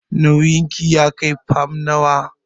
Nauyin ki ya kai fam nawa?